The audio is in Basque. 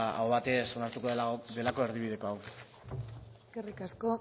aho batez onartuko delako erdibideko hau eskerrik asko